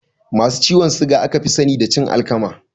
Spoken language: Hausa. Masu ciwon suga aka fi sani da cin alkama